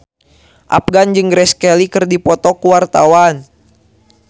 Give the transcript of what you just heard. Afgan jeung Grace Kelly keur dipoto ku wartawan